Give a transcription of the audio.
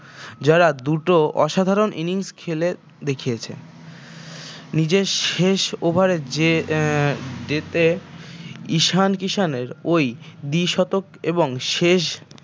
যারা দুটো অসাধারন innings খেলে দেখিয়েছে নিজের শেষ over এ এর তে ইশান কিষানের ঐ দিশতক এবং শেষ